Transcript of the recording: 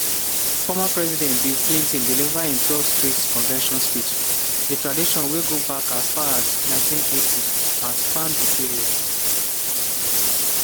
former president bill clinton deliver im 12th straight convention speech – a tradition wey go back as far as 1980 and span di period